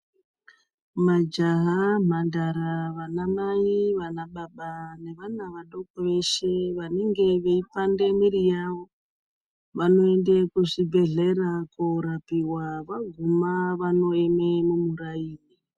Majaha ,mhandara, vanamai, vanababa, nevana vadoko veshe vanenge veipande mwiri yavo, vanoende kuzvibhedhlera koorapiwa, vaguma vanoeme mumuraini.